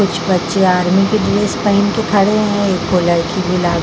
कुछ बच्चे आर्मी की ड्रेस पहन के खड़े है एक लड़की गुलाबी --